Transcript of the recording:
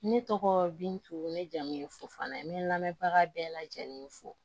Ne tɔgɔ bintu ne jamu fo n'a ye n bɛ n lamɛnbaga bɛɛ lajɛlen fo